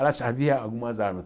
Aliás, havia algumas armas.